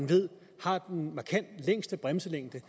ved har den markant længste bremselængde